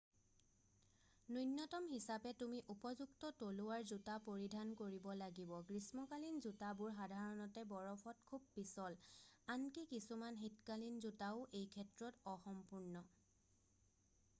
ন্যূনতম হিচাপে তুমি উপযুক্ত তলুৱাৰ জোতা পৰিধান কৰিব লাগিব গ্ৰীষ্মকালীন জোতাবোৰ সাধাৰণতে বৰফত খুব পিছল আনকি কিছুমান শীতকালীন জোতাও এইক্ষেত্ৰত অসম্পূৰ্ণ